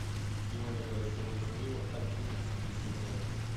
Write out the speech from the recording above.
теория большого взрыва одиннадцатый сезон